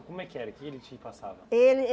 Como é que era que ele te passava? Ele